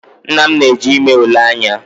Nna m na-eje ime ule anya